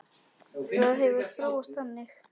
Það hefur þróast þannig.